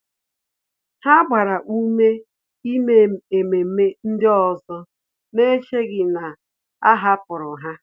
Há gbàrà ume ímé ememe ndị ọzọ n’échèghị́ na a hàpụ̀rụ́ ha.